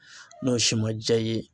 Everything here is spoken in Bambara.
N'o si ma diya i ye